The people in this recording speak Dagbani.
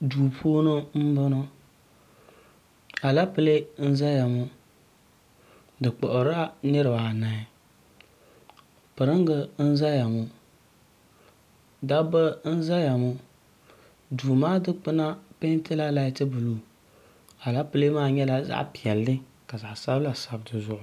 duu puuni n boŋo alɛpilɛ n ʒɛya ŋo di kpuɣirila niraba anahi piringi nyɛba ʒɛya ŋo dabba n ʒɛya ŋo duu maa dikpuna peentila lait buluu alɛpilɛ maa peentila zaɣ piɛlli ka zaɣ sabila sabi dizuɣu